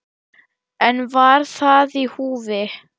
En var það í húfi?